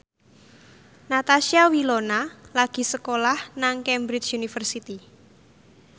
Natasha Wilona lagi sekolah nang Cambridge University